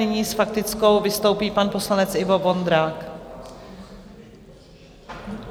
Nyní s faktickou vystoupí pan poslanec Ivo Vondrák.